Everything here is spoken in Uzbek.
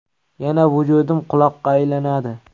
Yana vujudim quloqqa aylanadi.